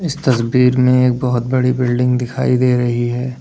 तस्वीर में एक बहुत बड़ी बिल्डिंग दिखाई दे रही है।